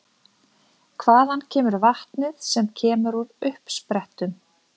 Hvaðan kemur vatnið sem kemur úr uppsprettum?